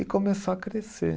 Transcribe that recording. E começou a crescer.